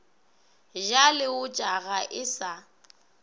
ja leotša ga e sa